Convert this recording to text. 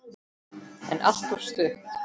En alltof stutt.